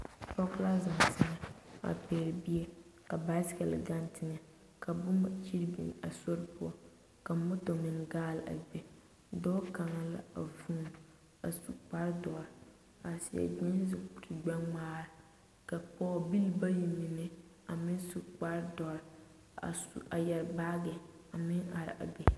Pɔge la zeŋ teŋɛ a pɛle bie ka baasigle gaŋ teŋɛ ka boma kyiri biŋ a sori poɔ ka moto meŋ gaale a be dɔɔ kaŋa la a vuuni a su kpare doɔre a seɛ gyeese kuri gbɛŋmaara ka pɔgebilii bayi mine a meŋ su kparre dɔre a yɛre baagi a meŋ are a be.